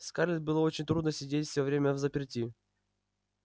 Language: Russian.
скарлетт было очень трудно сидеть всё время взаперти